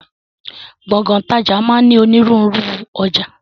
Gbọ̀ngán ìtajà máa ń ní ònírunru ọjà